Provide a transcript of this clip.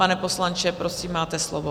Pane poslanče, prosím, máte slovo.